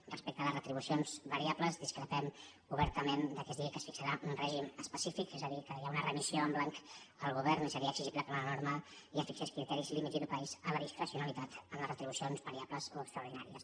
respecte a les retribucions variables discrepem obertament que es digui que es fixarà un règim específic és a dir que hi ha una remissió en blanc al govern i seria exigible que la norma ja fixés criteris límits i topalls a la discrecionalitat en les retribucions variables o extraordinàries